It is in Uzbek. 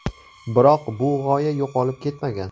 Biroq, bu g‘oya yo‘qolib ketmagan.